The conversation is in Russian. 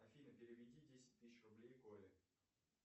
афина переведи десять тысяч рублей коле